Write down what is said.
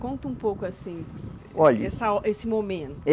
Conta um pouco assim. Olhe. Essa, esse momento.